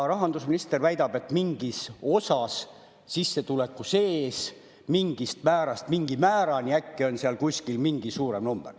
Rahandusminister väidab, et mingis sissetuleku osas, mingist määrast mingi määrani, on seal kuskil mingi suurem number.